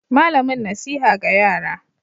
Malamin nasiha ga yara.